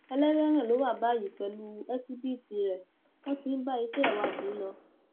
ẹlẹwẹẹran ló wà báyìí pẹlú ẹsíbìítì rẹ wọn ti ń bá iṣẹ ìwádìí lọ